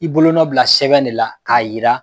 I bolonɔ bila sɛbɛn de la k'a yira